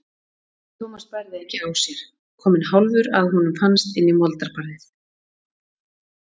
Thomas bærði ekki á sér, kominn hálfur að honum fannst inn í moldarbarðið.